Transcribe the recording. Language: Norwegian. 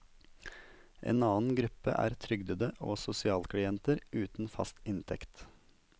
En annen gruppe er trygdede og sosialklienter uten fast inntekt.